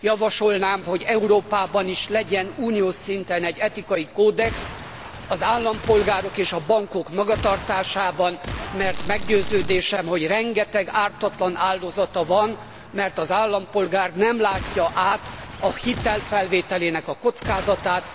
Javasolnám, hogy Európában is legyen uniós szinten egy etikai kódex az állampolgárok és a bankok magatartásában, mert meggyőződésem, hogy rengeteg ártatlan áldozata van, mert az állampolgár nem látja át a hitelfelvételének a kockázatát.